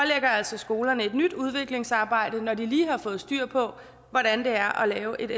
altså skolerne et nyt udviklingsarbejde når de lige har fået styr på hvordan det er at lave et